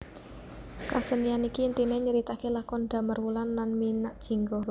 Kasenian iki intiné nyritakaké lakon Damarwulan lan Minakjingga